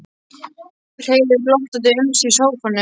Hreiðrar glottandi um sig í sófanum.